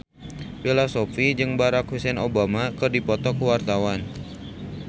Bella Shofie jeung Barack Hussein Obama keur dipoto ku wartawan